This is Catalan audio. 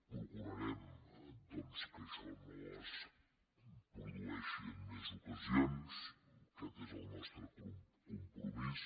procurarem doncs que això no es produeixi en més ocasions aquest és el nostre compromís